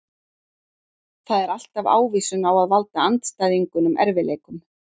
Það er alltaf ávísun á að valda andstæðingunum erfiðleikum.